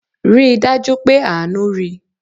Rí dájú pé Àánú rí!